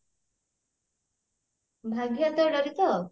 ଭାଗ୍ୟ ହାତରେ ଡୋରୀ ତ